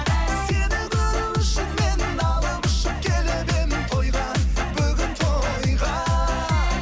сені көру үшін мен алып ұшып келіп едім тойға бүгін тойға